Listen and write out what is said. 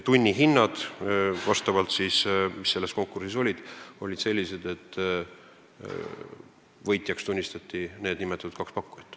Tunnihinnad olid sellised, et võitjaks tunnistati kaks nimetatud pakkumist.